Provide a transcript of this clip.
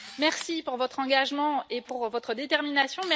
Merci pour votre engagement et pour votre détermination